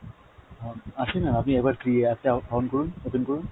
হুম আছেনা, আপনি একনার app টা on করুন, open করুন।